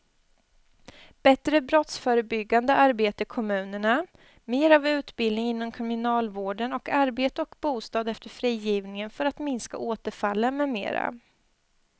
Bättre brottsförebyggande arbete i kommunerna, mera av utbildning inom kriminalvården och arbete och bostad efter frigivningen för att minska återfallen med mera.